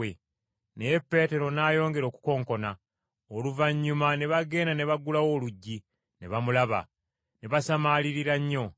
Naye Peetero n’ayongera okukonkona. Oluvannyuma ne bagenda ne baggulawo oluggi, ne bamulaba. Ne basamaalirira nnyo.